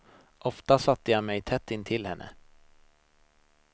Ofta satte jag mig tätt intill henne.